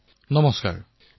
প্ৰধানমন্ত্ৰীঃ নমস্কাৰ